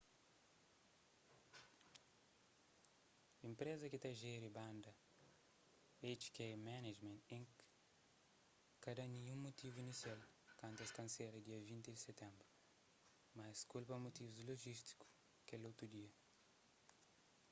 enpreza ki ta jeri banda hk management inc ka da ninhun mutivu inisial kantu es kansela dia 20 di sitenbru mas es kulpa mutivus lojístiku kel otu dia